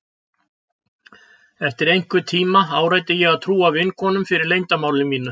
Eftir einhvern tíma áræddi ég að trúa vinkonunum fyrir leyndarmáli mínu.